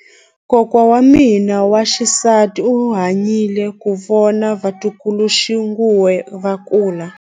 Kokwa wa mina wa xisati u hanyile ku vona vatukuluxinghuwe va kula.